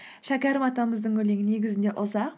шәкәрім атамыздың өлеңі негізінде ұзақ